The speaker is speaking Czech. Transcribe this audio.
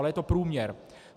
Ale je to průměr.